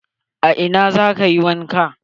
A ina za ka yi wanka?